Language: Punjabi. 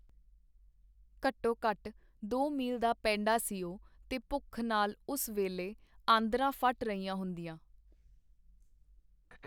ਘਟੋ ਘਟ ਦੋ ਮੀਲ ਦਾ ਪੇਂਡਾ ਸੀ ਉਹ, ਤੇ ਭੁੱਖ ਨਾਲ ਉਸ ਵੇਲੇ ਆਂਦਰਾਂ ਫਟ ਰਹੀਆਂ ਹੁੰਦੀਆਂ.